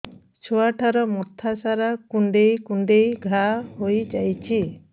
ଛୁଆଟାର ମଥା ସାରା କୁଂଡେଇ କୁଂଡେଇ ଘାଆ ହୋଇ ଯାଇଛି